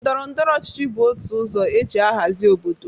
Ndọrọndọrọ ọchịchị bụ otu ọzọ e ji ahazị obodo.